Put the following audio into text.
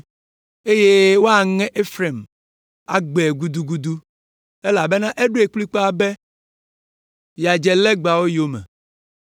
eye woaŋe Efraim, agbãe gudugudu, elabena eɖoe kplikpaa be yeadze legbawo yome.